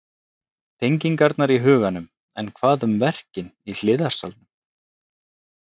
Tengingarnar í huganum En hvað um verkin í hliðarsalnum?